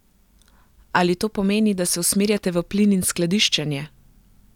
Ali to pomeni, da se usmerjate v plin in skladiščenje?